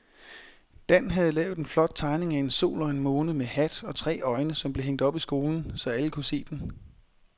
Dan havde lavet en flot tegning af en sol og en måne med hat og tre øjne, som blev hængt op i skolen, så alle kunne se den.